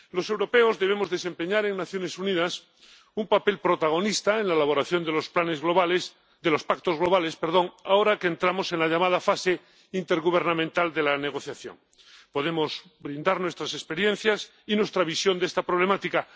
Los europeos debemos desempeñar en las Naciones Unidas un papel protagonista en la elaboración de los pactos globales ahora que entramos en la llamada fase intergubernamental de la negociación podemos brindar nuestras experiencias y nuestra visión de esta problemática.